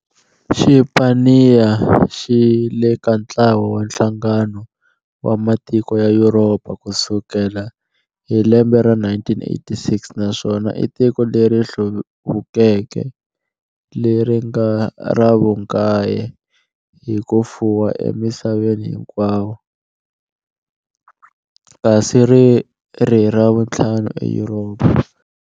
Xipaniya xile ka ntlawa wa Nhlangano wa matiko ya Yuropa ku sukela hi lembe ra 1986 naswona i tiko leri hluvukeke leri nga ra vunkaye hi kufuwa e misaveni hinkwayo, kasi riri ra vunthlanu eYuropa.